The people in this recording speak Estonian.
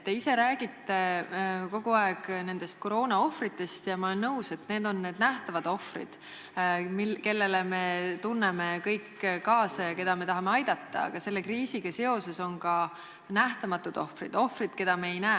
Te ise räägite kogu aeg nendest koroonaohvritest – ja ma olen nõus, et need on nähtavad ohvrid, kellele me tunneme kõik kaasa ja keda me tahame aidata –, aga selle kriisiga seoses on ka nähtamatud ohvrid, keda me ei näe.